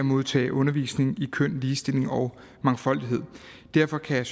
modtage undervisning i køn ligestilling og mangfoldighed derfor kan